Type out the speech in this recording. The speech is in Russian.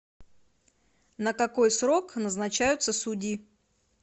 на какой срок назначаются судьи